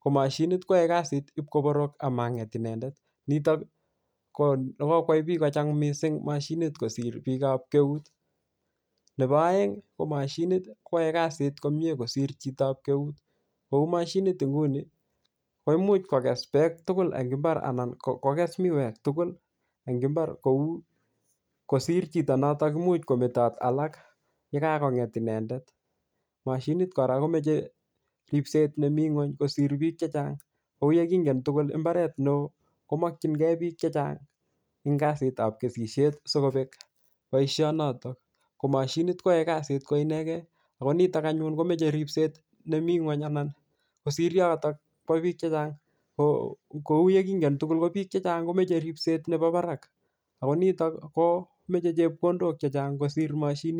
ko moshinit koyoe kasit ip koporok amanget inendet nitok konekokwai biik kocham moshinit kosir biikab keut nepo oengi ko moshinit koyoe kasit komie kosir chitab keut kou moshinit nguni koimuch kokes beek tugul en mbar anan kokes miwek tugul en mbar kou kosir chito imuch kometot alak yekakonget inendet moshinit kora komoche ripset nemi ngwony kosir biik chechang kou yekingen tugul imbaret neooo komokyinkee biik chechang en kasitab kesishet sikobek boishonotok ko moshinit koyoe kasit koinegen akonitok anyun komoche ripset nemi ngweny anan kosir yokotok biik chechang kou yekingen tugul ko biik chechang komoche ripset nebo barak ako nitok komoche chepkondok chechang kosir moshinit